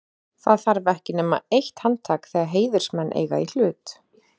Það þarf ekki nema eitt handtak, þegar heiðursmenn eiga í hlut.